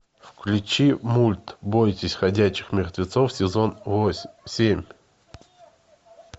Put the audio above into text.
включи мульт бойтесь ходячих мертвецов сезон восемь семь